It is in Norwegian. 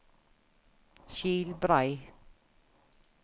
Skilbrei